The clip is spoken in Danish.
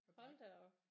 Hold da op